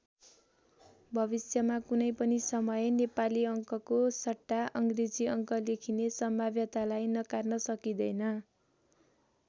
भविष्यमा कुनै पनि समय नेपाली अङ्कको सट्टा अङ्ग्रेजी अङ्क लेखिने सम्भाव्यतालाई नकार्न सकिँदैन।